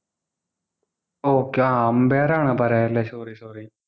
okay ah umpire ആണ് പറയാ അല്ലേ sorry sorry